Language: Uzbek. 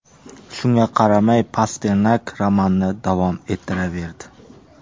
Shunga qaramay, Pasternak romanni davom ettiraverdi.